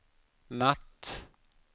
natt